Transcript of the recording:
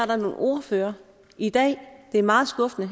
der er nogle ordførere i dag det er meget skuffende